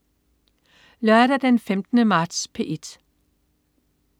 Lørdag den 15. marts - P1: